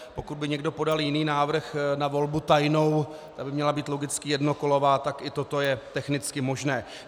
Pokud by někdo podal jiný návrh na volbu tajnou, ta by měla být logicky jednokolová, tak i toto je technicky možné.